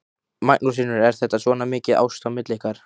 Magnús Hlynur: Er þetta svona mikið ást á milli ykkar?